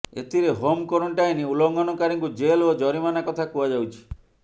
ଏଥିରେ home quarantine ଉଲ୍ଲଂଘନକାରୀଙ୍କୁ jail ଓ ଜରିମାନା କଥା କୁହାଯାଇଛି